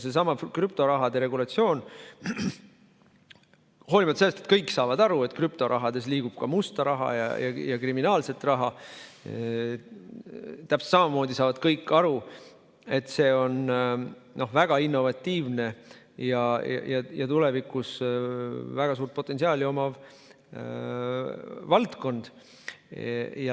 Seesama krüptoraha regulatsioon – hoolimata sellest, et kõik saavad aru, et krüptoraha hulgas liigub ka musta raha, kriminaalset raha, saavad täpselt samamoodi kõik aru, et see on väga innovatiivne ja tulevikus väga suurt potentsiaali omav valdkond.